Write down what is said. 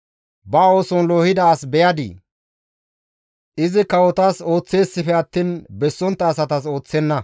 Ba ooson loohida as beyadii? Izi kawotas ooththeesippe attiin bessontta asatas ooththenna.